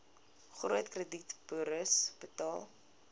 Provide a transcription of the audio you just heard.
groot kredietburos betaal